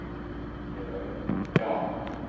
Heiðar Örn: Já.